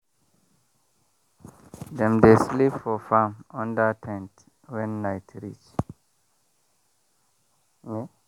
dem dey sleep for farm under ten t when night reach.